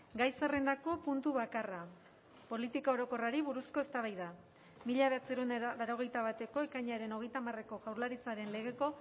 gai zerrendako puntu bakarra politika orokorrari buruzko eztabaida mila bederatziehun eta laurogeita bateko ekainaren hogeita hamareko jaurlaritzaren legeko